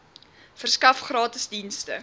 verskaf gratis dienste